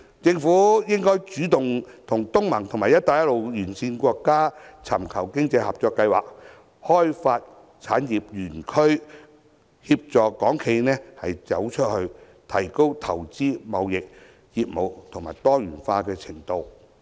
政府應主動與東盟及"一帶一路"沿線國家尋求經濟合作計劃，開發產業園區，協助港資企業"走出去"，提高投資、貿易及業務多元化的程度。